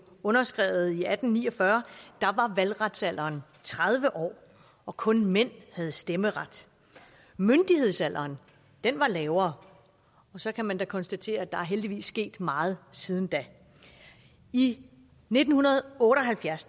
underskrevet i atten ni og fyrre var valgretsalderen tredive år og kun mænd havde stemmeret myndighedsalderen var lavere og så kan man da konstatere at der heldigvis er sket meget siden da i nitten otte og halvfjerds